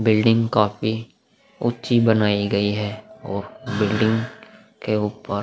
building काफी ऊंच्ची बनाई गई है और बिल्डिंग के ऊपर --